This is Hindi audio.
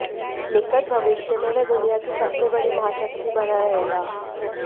निकट भविष्य में वह दुनिया की सबसे बड़ी महाशक्ति बना रहेगा